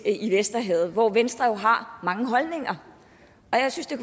i vesterhavet hvor venstre jo har mange holdninger og jeg synes det